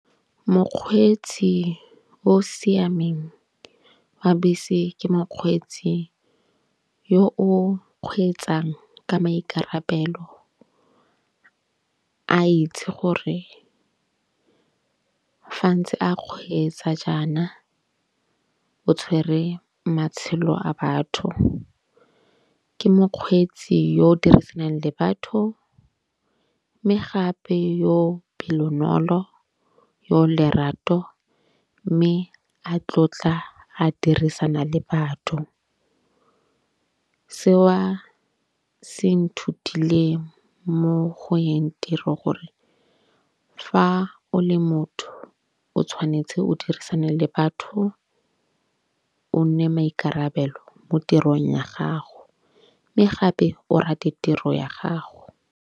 Mokgweetsi o siameng wa bese ke mokgweetsi yo o kgweetsang ka maikarabelo, a itse gore fa ntse a kgweetsa jaana o tshwere matshelo a batho. Ke mokgweetsi yo o dirisanang le batho. Mme gape yo pelonolo yo lerato. Mme a tlotla a dirisana le batho. Seo se nthutile mo go yeng tiro gore fa o le motho o tshwanetse o dirisane le batho. O nne maikarabelo mo tirong ya gago mme gape o rate tiro ya gago.